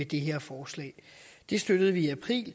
det her forslag det støttede vi i april